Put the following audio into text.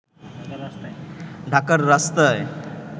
ঢাকার রাস্তায়